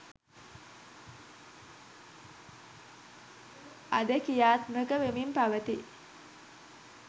අද කි්‍රයාත්මක වෙමින් පවතී